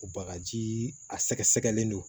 Bagajii a sɛgɛsɛgɛlen do